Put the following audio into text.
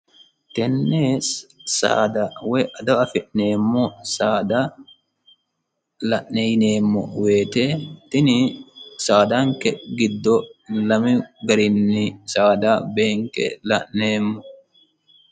Tenne saada woyi ado afi'neemmo saada la'ne yineemmo woyiite tini saadanke giddo lamu garinni saada beenke la'neemmo.